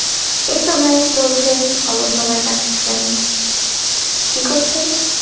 এইতো ভাই চলছে ভালো সময় কাটতেসে কি করছেন?